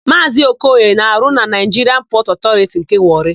Maazị Okoye na-arụ na Naịjiria Pọtụ Ọtọriti nke Wọrị.